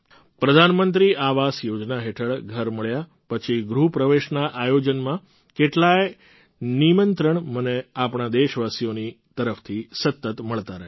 પ્રધાનમંત્રી આવાસ યોજના હેઠળ ઘર મળ્યા પછી ગૃહપ્રવેશના આયોજનમાં કેટલાંય નિમંત્રણ મને આપણા દેશવાસીઓની તરફથી સતત મળતા રહે છે